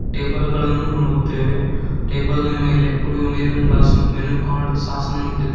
table ಗಳನ್ನು ನೋಡುತ್ತೇವೆ table ನ ಮೇಲೆ ಕುಡಿಯುವ ನೀರಿನ ಗ್ಲಾಸ್ ಮೆನು ಕಾರ್ಡ್ ಸಾಸ್ ಅನ್ನು ಇಟ್ಟಿದ್ದಾ --